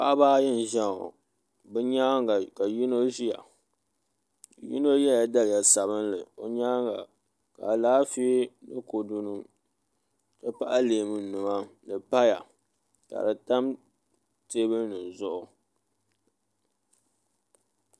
Paɣaba ayi n ʒiya ŋo bi nyaanga ka yino ʒiya yino yɛla daliya sabinli o nyaanga ka Alaafee ni kodu nim n ti pahi leemu nima ni paya ka di tam teebuli nim zuɣu